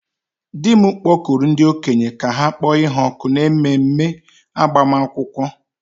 di m kpọkuru ndi-okenye ka ha kpọ ha òkù n'ememe agbamakwụkwọ